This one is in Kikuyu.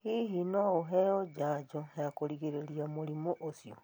Hihi no ũheo njajo ya kũgirĩrĩria mũrimũ ũcio?